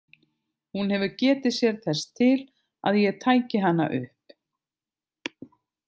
Hún hefur getið sér þess til að ég tæki hana upp.